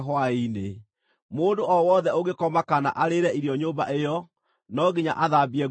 Mũndũ o wothe ũngĩkoma kana arĩĩre irio nyũmba ĩyo, no nginya athambie nguo ciake.